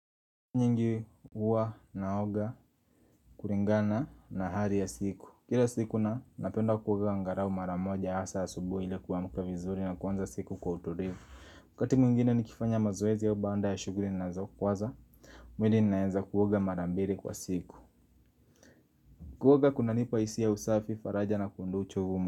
Nyingi huwa naoga kulingana na hali ya siku Kila siku na napenda kuoga angalau mara moja hasa ya asubuhi ili kuamka vizuri na kuanza siku kwa utulivu wakati mwingine nikifanya mazoezi au baada ya shughuli ninazo kuwaza mwili ninaenza kuoga mara mbili kwa siku Kuoga kunanipa hisia ya usafi faraja na kuondoa uchovu.